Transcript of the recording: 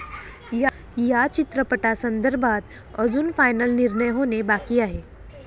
या चित्रपटासंदर्भात अजून फायनल निर्णय होणे बाकी आहे.